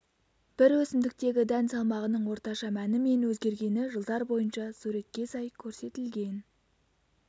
бір өсімдіктегі дән салмағының орташа мәні мен өзгергені жылдар бойынша суретке сай көрсетілген